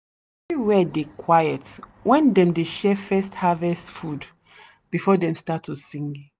where dey quiet when dem dey share first harvest food before dem start to sing.